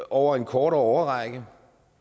over en kortere årrække